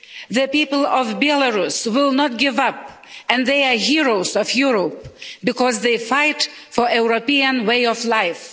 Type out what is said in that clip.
The people of Belarus will not give up and they are heroes of Europe because they fight for a European way of life.